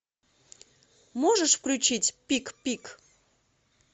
можешь включить пик пик